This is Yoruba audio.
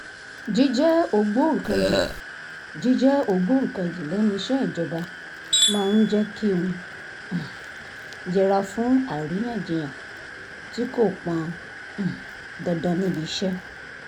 jíjẹ́ ògbóǹkangì jíjẹ́ ògbóǹkangì lẹ́nu iṣẹ́ ìjọba máa ń jẹ́ kí n um yẹra fún àríyànjiyàn tí kò pọn um dandan níbi iṣẹ́